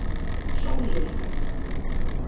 Sóllilja